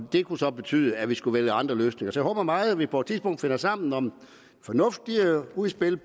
det kunne så betyde at vi skulle vælge andre løsninger så jeg håber meget at vi på et tidspunkt finder sammen om et fornuftigt udspil